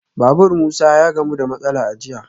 Babur Musa ya gamu da matsala a jiya